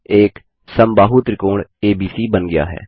एक समबाहु त्रिकोण एबीसी बन गया है